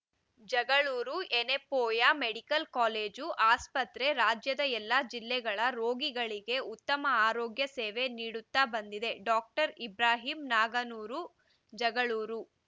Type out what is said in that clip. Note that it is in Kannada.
ಜಗಳೂರು ಯೆನೆಪೋಯ ಮೆಡಿಕಲ್‌ ಕಾಲೇಜು ಆಸ್ಪತ್ರೆ ರಾಜ್ಯದ ಎಲ್ಲಾ ಜಿಲ್ಲೆಗಳ ರೋಗಿಗಳಿಗೆ ಉತ್ತಮ ಆರೋಗ್ಯ ಸೇವ ನೀಡುತ್ತಾ ಬಂದಿದೆ ಡಾಕ್ಟರ್ ಇಬ್ರಾಹಿಂ ನಾಗನೂರ್‌ ಜಗಳೂರು